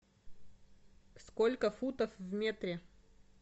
сколько футов в метре